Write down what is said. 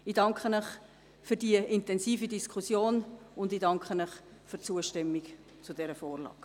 Ich danke Ihnen für die intensive Diskussion und ich danke Ihnen für die Zustimmung zu dieser Vorlage.